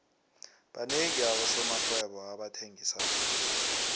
banengi abosomarhwebo abathengisako